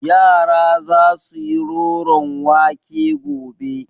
Yara za su yi roron wake gobe.